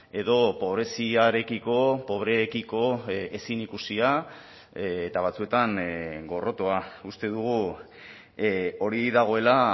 edo pobreziarekiko pobreekiko ezin ikusia eta batzuetan gorrotoa uste dugu hori dagoela